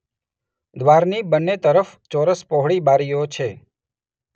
દ્વારની બનેં તરફ ચોરસ પહોળી બારીઓ છે